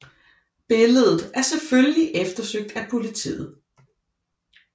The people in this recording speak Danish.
Billedet er selvfølgelig eftersøgt af politiet